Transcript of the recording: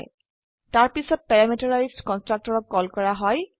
তাৰপিছত প্যাৰামিটাৰাইজড কন্সট্ৰকটৰক কল কৰা হয়